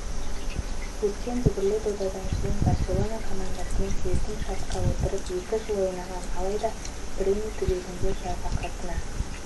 өткен дүбірлі додадан кейін барселона командасымен келісімшартқа отырып екі жыл ойнаған алайда пиреней түбегінде жарақатына